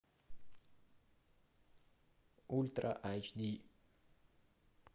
ультра айч ди